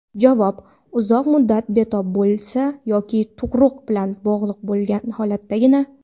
Javob: Uzoq muddat betob bo‘lsa yoki tug‘ruq bilan bog‘liq holatdagina.